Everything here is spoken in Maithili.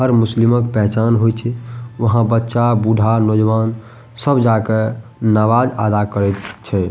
हर मुस्लिमा क पेहचान हो छे वहाँ बच्चा बुढ़ा नौजवान सब जाकअ नवाज अदा करेक छे।